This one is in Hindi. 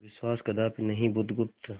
विश्वास कदापि नहीं बुधगुप्त